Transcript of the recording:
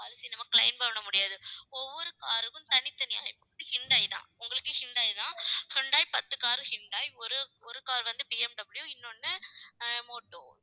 policy நம்ம claim பண்ண முடியாது. ஒவ்வொரு car க்கும் தனித்தனியா ஹூண்டாய் தான். உங்களுக்கு ஹூண்டாய் தான். ஹூண்டாய் பத்து car உம் ஹூண்டாய், ஒரு ஒரு car வந்து பிஎம்டபிள்யூ, இன்னொன்னு ஆஹ் மோட்டோ